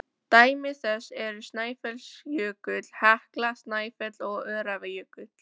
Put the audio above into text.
Dæmi þess eru Snæfellsjökull, Hekla, Snæfell og Öræfajökull.